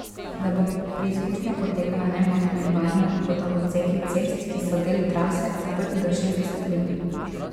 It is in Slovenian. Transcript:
Da bo preizkušnja potekala nemoteno in varno, bodo odseki cest, ki so del trase, zaprti do šestdeset minut.